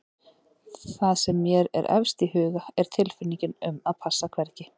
Það sem mér er efst í huga er tilfinningin um að passa hvergi.